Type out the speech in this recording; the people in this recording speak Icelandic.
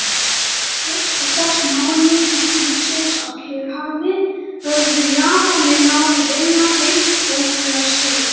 Fyrstu sex mánuði stríðsins á Kyrrahafi höfðu Japanir náð að vinna hreint ótrúlega sigra.